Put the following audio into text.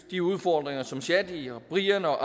de udfordringer som shadi og brian og